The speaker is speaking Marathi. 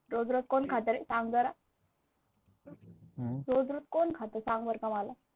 रोज रोज कोण खाते रे, सांग बरं रोज रोज कोण खाते सांग बरं मला.